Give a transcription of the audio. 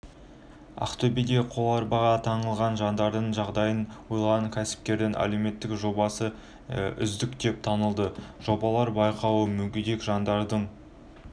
ақтөбеде қоларбаға таңылған жандардың жағдайын ойлаған кәсіпкердің әлеуметтік жобасы үздік деп танылды жобалар байқауы мүгедек жандардың